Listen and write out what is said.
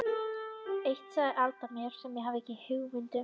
Eitt sagði Alda mér sem ég hafði ekki hugmynd um.